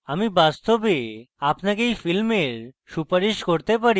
আমি বাস্তবে আপনাকে এই film সুপারিশ করতে পারি